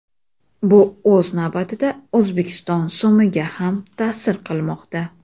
Bu o‘z navbatida O‘zbekiston so‘miga ham ta’sir qilmoqda.